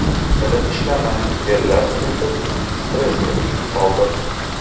Tilim ishlamay, terlab ketib, stressga tushib qoldim.